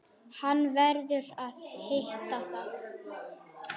Hann verður að vita það.